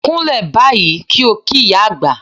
Kúnlẹ̀ báyìí kí ó kí ìyá àgbà!